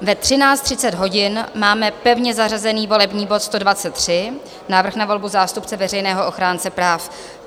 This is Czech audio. Ve 13.30 hodin máme pevně zařazený volební bod 123, návrh na volbu zástupce veřejného ochránce práv.